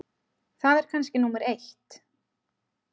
Það er kannski númer eitt.